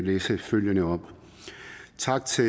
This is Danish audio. læse følgende op tak til